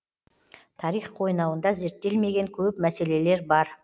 тарих қойнауында зерттелмеген көп мәселелер бар